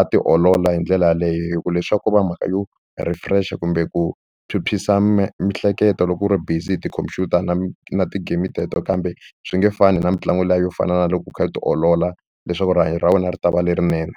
a ti olola hi ndlela yaleyo hi ku leswi a va mhaka yo refresh kumbe ku phyuphyisa miehleketo loko u ri busy hi tikhomphyuta na na ti-game teto kambe swi nge fani na mitlangu liya yo fana na loko u kha ku tiolola leswaku rihanyo ra wena ri ta va lerinene.